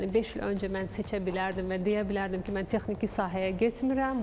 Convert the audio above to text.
Yəni beş il öncə mən seçə bilərdim və deyə bilərdim ki, mən texniki sahəyə getmirəm.